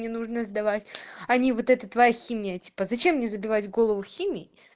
не нужно сдавать они вот это твоя химия типа зачем мне забивать голову химией